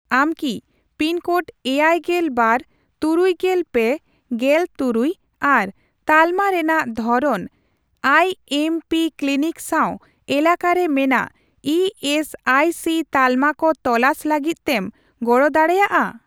ᱟᱢ ᱠᱤ pin code ᱮᱭᱟᱭᱜᱮᱞ ᱵᱟᱨ ,ᱛᱩᱨᱩᱭᱜᱮᱞ ᱯᱮ ,ᱜᱮᱞ ᱛᱩᱨᱩᱭ ᱟᱨ ᱛᱟᱞᱢᱟ ᱨᱮᱱᱟᱜ ᱫᱷᱚᱨᱚᱱ ᱟᱭᱮᱢᱯᱤ ᱠᱞᱤᱱᱤᱠ ᱥᱟᱣ ᱮᱞᱟᱠᱟᱨᱮ ᱢᱮᱱᱟᱜ ᱤ ᱮᱥ ᱟᱭ ᱥᱤ ᱛᱟᱞᱢᱟ ᱠᱚ ᱛᱚᱞᱟᱥ ᱞᱟᱹᱜᱤᱫ ᱛᱮᱢ ᱜᱚᱲᱚ ᱫᱟᱲᱮᱭᱟᱜᱼᱟ ?